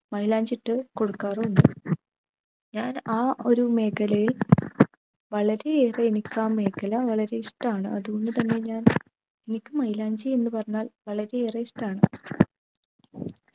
മൈലാഞ്ചി ഇട്ടുകൊടുക്കാറും ഉണ്ട്‌ ഞാൻ ആ ഒരു മേഖലയിൽ വളരെയേറെ ആ മേഖല വളരെ ഇഷ്ടാന്ന് അത്കൊണ്ട് തന്നെ ഞാൻ എനിക്ക് മെയിലാഞ്ചി എന്ന് പറഞ്ഞാൽ വളരെ ഏറെ ഇഷ്ടാണ്